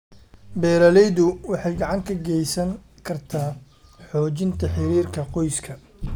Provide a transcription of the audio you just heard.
Beeralaydu waxay gacan ka geysan kartaa xoojinta xiriirka qoyska.